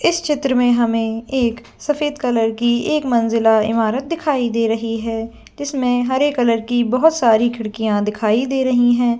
इस चित्र में हमें एक सफेद कलर की एक मंजिला इमारत दिखाई दे रही है जिसमें हरे कलर की बहुत सारी खिड़कियां दिखाई दे रही है।